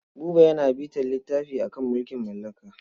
Buba yana bitar littafi a kan mulkin mallaka.